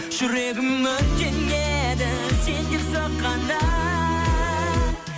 жүрегім өртенеді сен деп соққанда